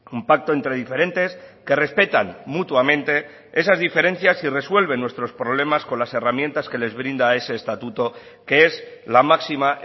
un pacto entre diferentes que respetan mutuamente esas diferencias y resuelven nuestros problemas con las herramientas que les brinda ese estatuto que es la máxima